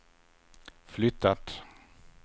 flyttat